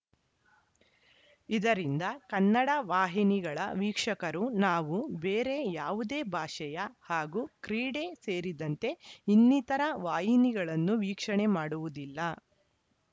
ಇದರಿಂದ ಕನ್ನಡ ವಾಹಿನಿಗಳ ವೀಕ್ಷಕರು ನಾವು ಬೇರೆ ಯಾವುದೇ ಭಾಷೆಯ ಹಾಗೂ ಕ್ರೀಡೆ ಸೇರಿದಂತೆ ಇನ್ನಿತರ ವಾಹಿನಿಗಳನ್ನು ವೀಕ್ಷಣೆ ಮಾಡುವುದಿಲ್ಲ